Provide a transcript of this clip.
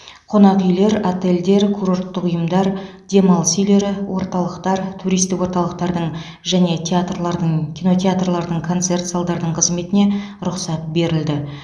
қонақ үйлер отельдер курорттық ұйымдар демалыс үйлері орталықтар туристік орталықтардың және театрлардың кинотеатрлардың концерт залдардың қызметіне рұқсат берілді